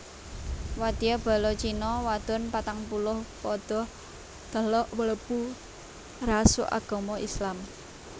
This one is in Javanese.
Wadya bala China wadon patangpuluh padha teluk mlebu ngrasuk agama Islam